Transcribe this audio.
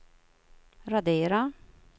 radera